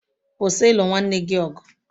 .Kwụsị ịlụ nwanne gị ọgụ.